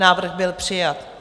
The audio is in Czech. Návrh byl přijat.